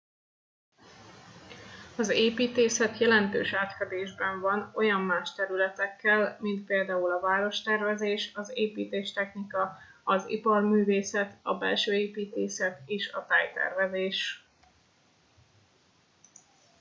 az építészet jelentős átfedésben van olyan más területekkel mint például a várostervezés az építéstechnika az iparművészet a belsőépítészet és a tájtervezés